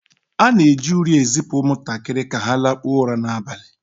A na-eji uri ezipụ ụmụntakịrị ka ha lakpuo ụra n'abalị